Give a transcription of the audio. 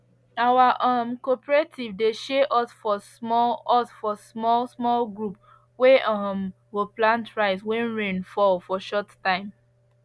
our um cooperative dey share us for small us for small small group wey um go plant rice when rain fall for short time